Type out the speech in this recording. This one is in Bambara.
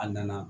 A nana